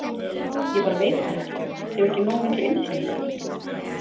Ég bara veit það ekki, hef ekki nógu mikla innsýn í það?